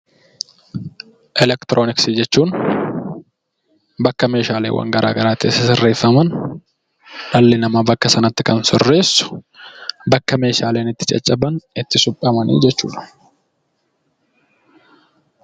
Elektroniksii jechuun bakka meeshaaleen garaagaraa itti sirreeffaman dhalli namaa bakka sanatti kan sirreessu bakka meeshaaleen caccaban itti suphaman jechuudha